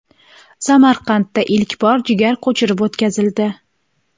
Samarqandda ilk bor jigar ko‘chirib o‘tkazildi.